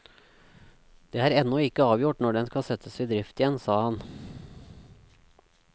Det er ennå ikke avgjort når den skal settes i drift igjen, sa han.